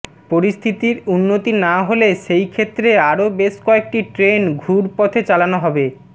পরিস্থিতির উন্নতি না হলে সেই ক্ষেত্রে আরও বেশ কয়েকটি ট্রেন ঘুর পথে চালানো হবে